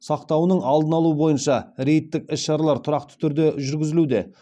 сақтауының алдын алу бойынша рейдтік іс шаралар тұрақты түрде жүргізілуде